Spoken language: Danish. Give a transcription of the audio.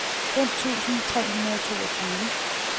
fem tusind tre hundrede og toogtyve